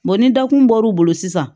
ni dakun bɔr'u bolo sisan